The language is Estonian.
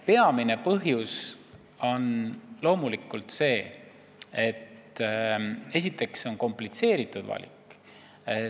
Peamine põhjus on loomulikult komplitseeritud valik.